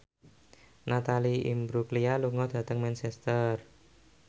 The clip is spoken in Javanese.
Natalie Imbruglia lunga dhateng Manchester